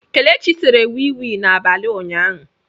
Kelechi sere wii wii n'abalị ụnyaahụ.